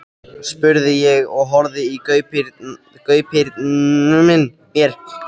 spurði ég og horfði í gaupnir mér.